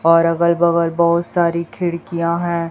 और अगल बगल बहुत सारी खिड़कियां हैं।